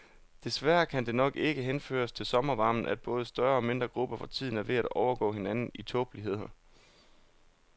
Desværre kan det nok ikke henføres til sommervarmen, at både større og mindre grupper for tiden er ved at overgå hinanden i tåbeligheder.